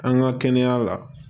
An ka kɛnɛya la